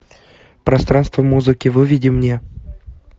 пространство музыки выведи мне